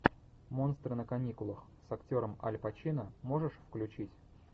монстры на каникулах с актером аль пачино можешь включить